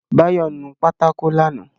Báyọ̀ nu pátákó lánàá